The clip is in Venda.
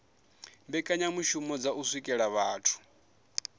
mbekanyamishumo dza u swikelela vhathu